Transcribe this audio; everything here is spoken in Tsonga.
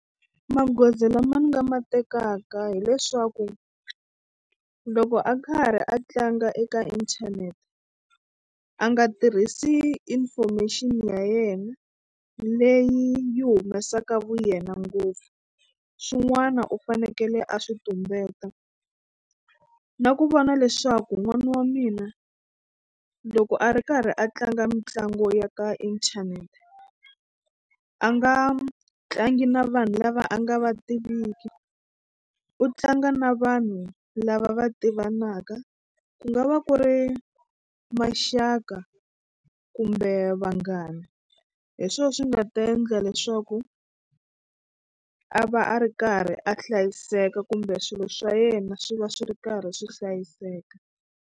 Magoza lama ni nga ma tekaka hileswaku loko a karhi a tlanga eka inthanete a nga tirhisi information ya yena leyi yi humesaka vuyena ngopfu swin'wana u fanekele a swi tumbeta na ku vona leswaku n'wana wa mina loko a ri karhi a tlanga mitlangu ya ka inthanete a nga tlangi na vanhu lava a nga va tiviki u tlanga na vanhu lava va tivanaka ku nga va ku ri maxaka kumbe vanghani hi swo swi nga ta endla leswaku a va a ri karhi a hlayiseka kumbe swilo swa yena swi va swi ri karhi swi hlayiseka.